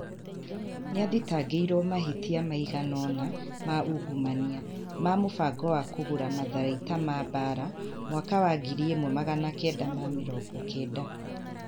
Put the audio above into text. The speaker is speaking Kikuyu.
Nĩ athitangĩirwo mahĩtia maigana ũna ma ungumania. Ma mũbango wa kũgũra matharaita ma mbaara mwaka wa 1990.